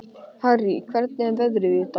Harrý, hvernig er veðrið í dag?